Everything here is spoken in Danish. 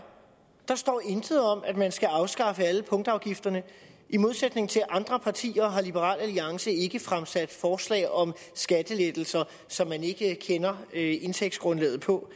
der står intet om at man skal afskaffe alle punktafgifterne i modsætning til andre partier har liberal alliance ikke fremsat forslag om skattelettelser som man ikke kender indtægtsgrundlaget på